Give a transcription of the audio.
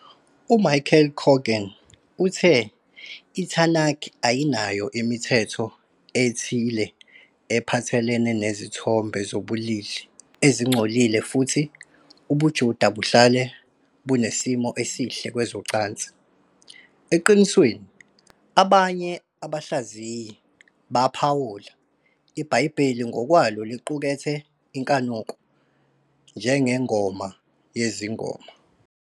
UMichael Coogan uthe iTanakh ayinayo imithetho ethile ephathelene nezithombe zobulili ezingcolile futhi ubuJuda buhlale bunesimo esihle kwezocansi. Eqinisweni, abanye abahlaziyi baphawula, iBhayibheli ngokwalo liqukethe inkanuko, njengeNgoma Yezingoma.